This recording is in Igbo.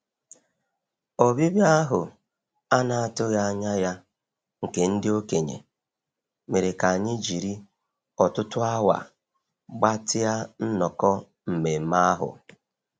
Ọbịbịa ahụ a na-atụghị anya ya nke ndị okenye mere ka anyị jiri ọtụtụ awa gbatịa nnọkọ nmenme ahụ.